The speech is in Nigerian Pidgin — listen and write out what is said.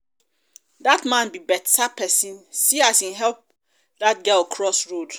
dat man be beta um person see um as he help dat girl cross um road